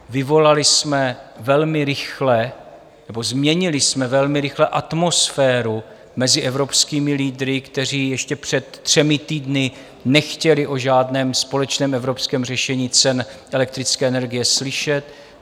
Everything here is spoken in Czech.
Vyvolali jsme velmi rychle nebo změnili jsme velmi rychle atmosféru mezi evropskými lídry, kteří ještě před třemi týdny nechtěli o žádném společném evropském řešení cen elektrické energie slyšet.